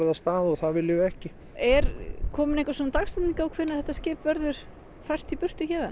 af stað og það viljum við ekki er komin einhver dagsetning á hvenær þetta skip verður fært í burtu héðan